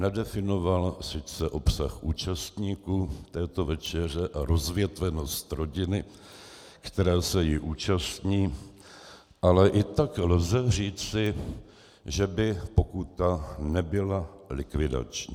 Nedefinoval sice obsah účastníků této večeře a rozvětvenost rodiny, která se jí účastní, ale i tak lze říci, že by pokuta nebyla likvidační.